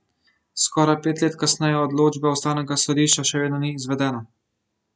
Skoraj pet let kasneje odločba ustavnega sodišča še vedno ni izvedena.